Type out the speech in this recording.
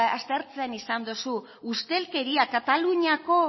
aztertzen izan dugu ustelkeria